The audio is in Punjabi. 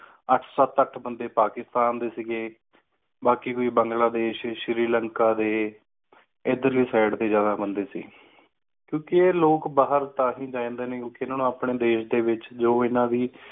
ਅੱਠ ਸਤ ਅੱਠ ਬੰਦੇ ਪਾਕਿਸਤਾਨ ਸੀ ਗਏ ਬਾਕੀ ਕੋਈ ਬੰਗਲਾਦੇਸ਼ ਸ਼੍ਰੀਲੰਕਾ ਦੇ ਇਧਰਲੀ side ਦੇ ਜ਼ਿਆਦਾ ਬੰਦੇ ਸੀ ਕਿਉਂਕਿ ਇਹ ਲੋਕ ਬਾਹਰ ਤਾਂ ਹੀ ਜਾ ਲੈਂਦੇ ਹੈ ਕਿਉਂਕਿ ਇਹਨਾ ਨੂੰ ਅਪਣੇ ਦੇਸ਼ ਦੇ ਵਿਚ ਜੋ ਇਹਨਾ ਦੀ